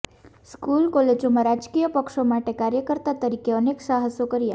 school કોલેજમાં રાજકીય પક્ષો માટે કાર્યકર્તા તરીકે અનેક સાહસો કર્યા